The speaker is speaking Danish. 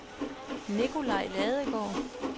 Nikolaj Ladegaard